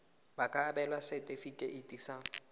ba ka abelwa setefikeiti sa